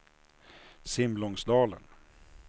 Simlångsdalen